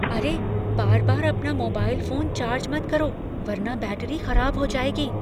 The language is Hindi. अरे, बार बार अपना मोबाइल फोन चार्ज मत करो वरना बैटरी खराब हो जाएगी।